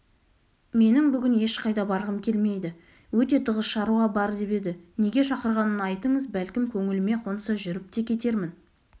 менің бүгін ешқайда барғым келмейді өте тығыз шаруа бар деп еді неге шақырғанын айтыңыз бәлкім көңіліме қонса жүріп те кетермін